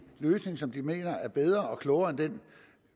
løsning som de mener er bedre og klogere end den